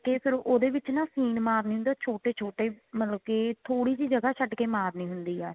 ਫੇਰ ਉਹਦੇ ਵਿੱਚ ਨਾ ਸੀਨ ਮਾਰਨੀ ਹੁੰਦੀ ਹੈ ਛੋਟੇ ਛੋਟੇ ਮਤਲਬ ਕਿ ਥੋੜੀ ਜੀ ਜਗ੍ਹਾ ਛੱਡ ਕੇ ਮਾਰਨੀ ਹੁੰਦੀ ਆ